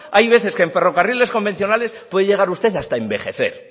hay veces que en ferrocarriles convencionales puede llegar usted hasta envejecer